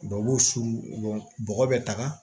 Dɔw b'u suru bɔgɔ bɛ taga